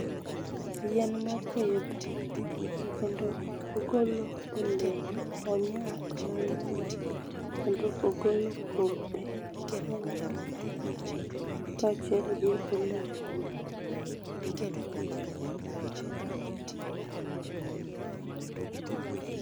Yien mopidh kendo ogolo olemo ,onyak mangeny kendo ogolo kodhi mangeny kachiel gi olemo ne